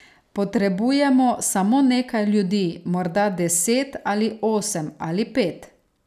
Potrebujemo samo nekaj ljudi, morda deset, ali osem, ali pet.